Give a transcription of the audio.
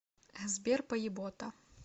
сбер поебота